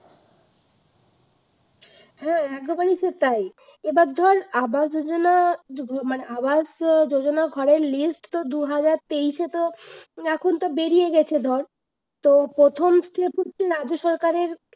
হ্যাঁ একবারই সেটাই, এবার ধর আবাস যোজনা মানে আবাস যোজনা ঘরের list তো দুহাজার তেইশে তো এখন তো বেড়িয়ে গেছে ধর তো প্রথম step হচ্ছে রাজ্য সরকারের